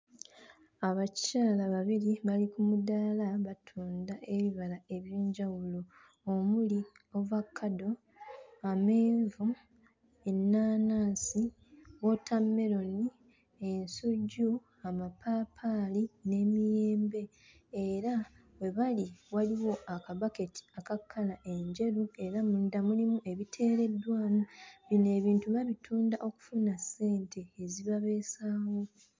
Abakyala babiri bali ku mudaala batunda ebibala eby'enjawulo omuli ovakaddo, amenvu, ennaanansi, wootammeroni, ensujju, amapaapaali n'emiyembe era we bali waliwo akabaketi aka kkala enjeru era munda mulimu ebiteereddwamu. Bino ebintu babitunda okufuna ssente ezibabeezaawo.